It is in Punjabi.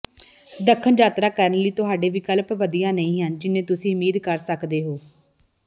ਦੱਖਣ ਯਾਤਰਾ ਕਰਨ ਲਈ ਤੁਹਾਡੇ ਵਿਕਲਪ ਵਧੀਆ ਨਹੀਂ ਹਨ ਜਿੰਨੇ ਤੁਸੀਂ ਉਮੀਦ ਕਰ ਸਕਦੇ ਹੋ